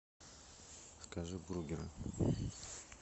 закажи бургеры